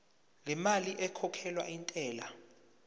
lemali ekhokhelwa intela